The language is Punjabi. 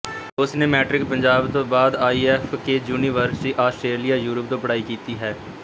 ਉਸਨੇ ਮੈਟ੍ਰਿਕ ਪੰਜਾਬ ਤੋਂ ਬਾਅਦ I F K university Austria Europe ਤੋਂ ਪੜ੍ਹਾਈ ਕੀਤੀ ਹੈ